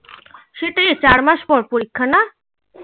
সেটাই তো চার মাস পর পরীক্ষা না